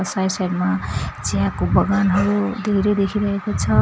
Side side मा चियाको बगानहरू धेरै देखिरहेको छ।